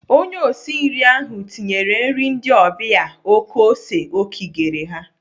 Onye osi nri ahụ tinyere nri ndị ọbịa oké ose o kigere ha.